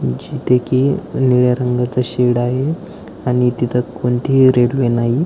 जिथे की निळ्या रंगाच शेड आहे आणि तिथ कोणतीही रेल्वे नाही.